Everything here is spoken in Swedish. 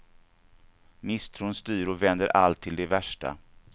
Misstron styr och vänder allt till det värsta.